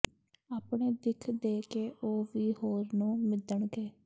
ਆਪਣੇ ਦਿੱਖ ਦੇ ਕੇ ਉਹ ਵੀ ਹੋਰ ਨੂੰ ਮਿਧਣਗੇ